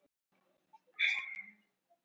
Og bætir við: